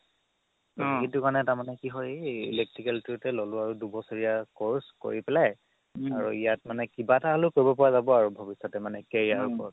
আ সেইটো মানে তাৰমানে কি হয় electrical তো ল'লো আৰু দুবছৰীয়া course কৰি পেলাই আৰু ইয়াত মানে কিবা এটা হ'লেও কৰিব পাৰা যাব আৰু ভৱিষ্যতে career ৰ ওপৰত